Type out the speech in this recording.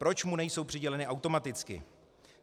Proč mu nejsou přiděleny automaticky?